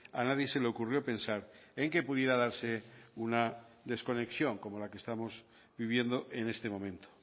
a nadie se le ocurrió pensar en que pudiera darse una desconexión como la que estamos viviendo en este momento